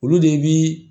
Olu de bi